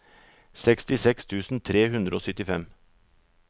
sekstiseks tusen tre hundre og syttifem